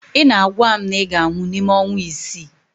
Ị na-agwa m na ị ga-anwụ n'ime ọnwa isii